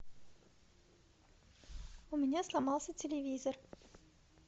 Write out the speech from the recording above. у меня сломался телевизор